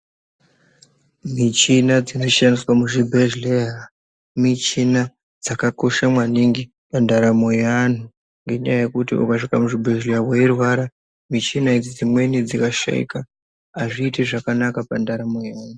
Michina yatinoshandisa muzvibhedhleya ,muchina dzakakosha maningi mundaramo yeantu, ngendaa yekuti ukasvika muzvibhedhleya weirwara, mushina idzi dzimweni dzikashaika azviiti zvakanaka pandaramo yemuntu.